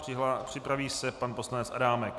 Připraví se pan poslanec Adámek.